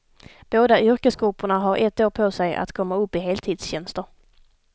Båda yrkesgrupperna har ett år på sig att komma upp i heltidstjänster.